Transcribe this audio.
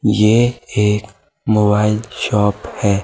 यह एक mobile shop है।